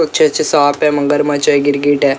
अच्छे अच्छे सांप है मगरमच्छ है गिरगिट है।